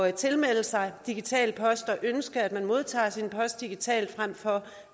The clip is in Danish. at tilmelde sig digital post og ønske at man modtager sin post digitalt frem for